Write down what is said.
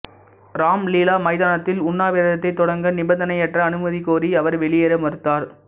ராம் லீலா மைதானத்தில் உண்ணாவிரதத்தை தொடங்க நிபந்தனையற்ற அனுமதி கோரி அவர் வெளியேற மறுத்தார்